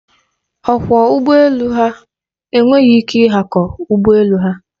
Ọkwọ ụgbọ elu ha enweghị ike ịhakọ ụgbọ elu ha.